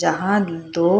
जहां दो